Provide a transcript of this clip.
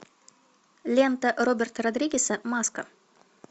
лента роберта родригеса маска